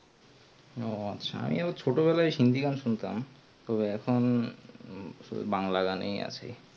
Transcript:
ও আচ্ছা আমিও ছোট বেলায় হিন্দি গান শুনতাম তো এখুন এই বাংলা গানেই আছি